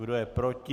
Kdo je proti?